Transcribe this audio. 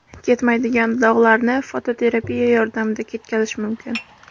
Ketmaydigan dog‘larni fototerapiya yordamida ketkazish mumkin.